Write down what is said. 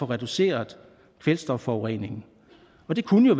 reducerer kvælstofforureningen det kunne jo